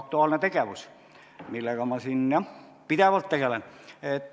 Aktuaalne tegevus, millega ma jah pidevalt tegelen.